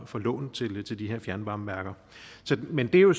for lån til til de her fjernvarmeværker men det er jo